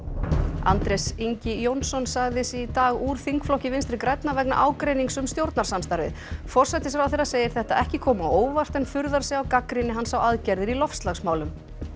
Andrés Ingi Jónsson sagði sig í dag úr þingflokki Vinstri grænna vegna ágreinings um stjórnarsamstarfið forsætisráðherra segir þetta ekki koma á óvart en furðar sig á gagnrýni hans á aðgerðir í loftslagsmálum